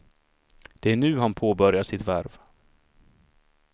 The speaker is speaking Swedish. Det är nu han påbörjar sitt värv.